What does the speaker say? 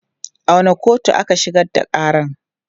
A wanne kotu aka shigar da ƙaran?